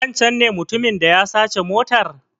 Wancen ne mutumin da ya sace motar?